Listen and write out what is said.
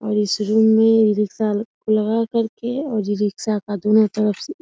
और इस रूम में ई-रिक्शा लगा करके और ई-रिक्शा का दोनों तरफ से --